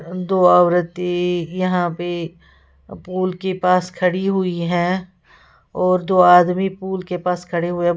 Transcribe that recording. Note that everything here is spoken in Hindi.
दो औरतें यहां पे पोल के पास खड़ी हुई हैं और दो आदमी पूल के पास खड़े हुए --